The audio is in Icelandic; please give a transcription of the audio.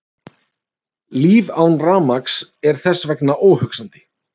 Líf án rafmagns er þess vegna óhugsandi.